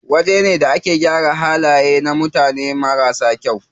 Wajena da ake gyara halaye na mutane marasa kyau.